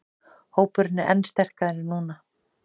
Hópurinn er enn sterkari núna